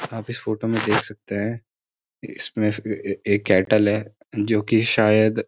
आप इस फोटो में देख सकते है इसमें एक कैटल है जो कि शायद --